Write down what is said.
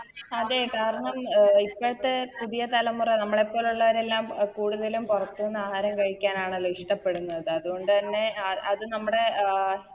അതെ കാരണം അഹ് ഇപ്പത്തെ പുതിയ തലമുറ നമ്മളെപ്പോലുള്ളവരെല്ലാം കൂടുതലും പൊറത്തുന്ന് ആഹാരം കഴിക്കാനാണല്ലോ ഇഷ്ടപ്പെടുന്നത് അതുകൊണ്ട് തന്നെ ആത് നമ്മുടെ അഹ്